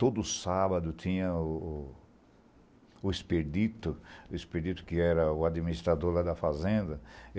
Todo sábado tinha o expedito, o expedito que era o administrador da fazenda.